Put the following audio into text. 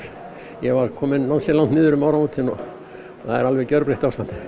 ég var kominn ansi langt niður um áramótin svo það er alveg gjörbreytt ástand